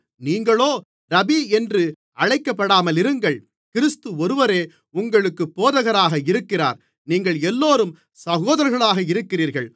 நீங்களோ ரபீ என்று அழைக்கப்படாமலிருங்கள் கிறிஸ்து ஒருவரே உங்களுக்குப் போதகராக இருக்கிறார் நீங்கள் எல்லோரும் சகோதரர்களாக இருக்கிறீர்கள்